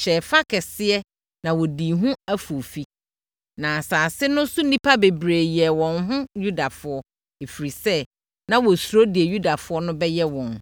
hyɛɛ fa kɛseɛ na wɔdii ho afoofi. Na asase no so nnipa bebree yɛɛ wɔn ho Yudafoɔ, ɛfiri sɛ, na wɔsuro deɛ Yudafoɔ no bɛyɛ wɔn.